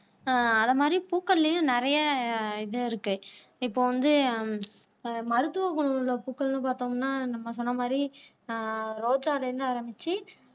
ஆஹ் அதை மாதிரி பூக்கள்லையும் நிறைய இது இருக்கு இப்ப வந்து அஹ் மருத்துவ குணம் உள்ள பூக்கள்ன்னு பார்த்தோம்னா நம்ம சொன்ன மாதிரி அஹ் ரோஜால இருந்து ஆரம்பிச்சு